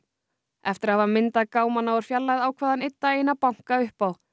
eftir að hafa myndað gámana úr fjarlægð ákvað hann einn daginn að banka upp á